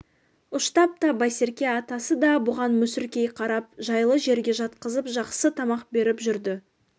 ұштап та байсерке атасы да бұған мүсіркей қарап жайлы жерге жатқызып жақсы тамақ беріп жүрді